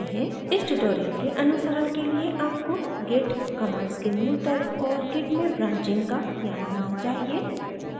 इस tutorial के अनुसरण के लिए आपको git commands के मूल तत्व और git में branching का ज्ञान होना चाहिए